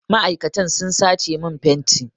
Ma'aikatan sun sace min fenti.